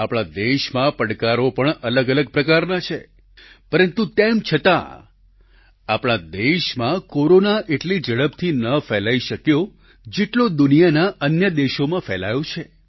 આપણા દેશમાં પડકારો પણ અલગ અલગ પ્રકારના છે પરંતુ તેમ છતાં આપણા દેશમાં કોરોના એટલી ઝડપથી ન ફેલાઈ શક્યો જેટલો દુનિયાના અન્ય દેશોમાં ફેલાયો છે